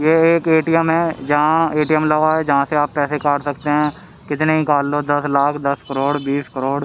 ये एक A_ T_ M है जहां ए_ टी_ एम लगा है जहां से आप पैसे काट सकते हैं कितने ही काट लो दस लाख दस करोड़ बीस करोड़ --